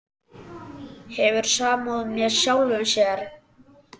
Hefur samúð með sjálfum sér.